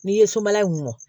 N'i ye sobala in mɔ